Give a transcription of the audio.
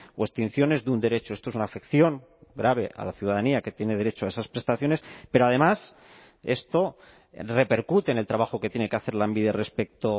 o extinciones de un derecho esto es una afección grave a la ciudadanía que tiene derecho a esas prestaciones pero además esto repercute en el trabajo que tiene que hacer lanbide respecto